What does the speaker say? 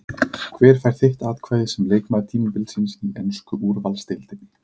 Hver fær þitt atkvæði sem leikmaður tímabilsins í ensku úrvalsdeildinni?